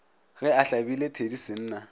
ge a hlabile thedi senna